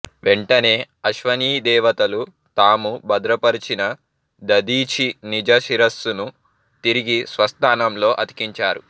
వెంటనే అశ్వనీ దేవతలు తాము భద్రపరిచిన దధీచి నిజ శిరస్సును తిరిగి స్వస్థానంలో అతికించారు